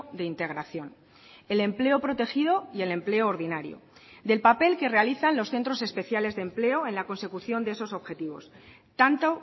de integración el empleo protegido y el empleo ordinario del papel que realizan los centros especiales de empleo en la consecución de esos objetivos tanto